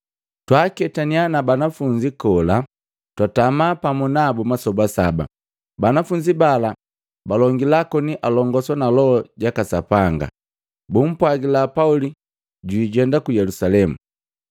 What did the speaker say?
Twaaketaniya na banafunzi kola, twatama pamu nabu masoba saba. Banafunzi bala balongila koni alongoswa na Loho jaka Sapanga, bumpwajila Pauli jwijenda ku Yelusalemu.